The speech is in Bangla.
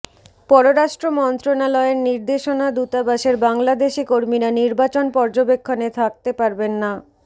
পররাষ্ট্র মন্ত্রণালয়ের নির্দেশনা দূতাবাসের বাংলাদেশি কর্মীরা নির্বাচন পর্যবেক্ষণে থাকতে পারবেন না